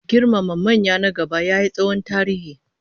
Girmama manya na gaba yayi tsohon tarihi